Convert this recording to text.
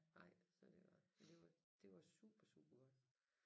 Nej så det var men det var det var super super godt